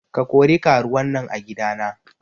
Ka kori karuwan nan a gida na.